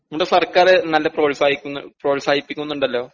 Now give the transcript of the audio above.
ന്റെ സർക്കാര് നല്ല പ്രോത്സാഹിക്കുന്നു പ്രോത്സാഹിപ്പിക്കുന്നുണ്ടല്ലോ?